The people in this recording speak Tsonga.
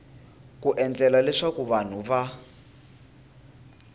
ku endlela leswaku vanhu va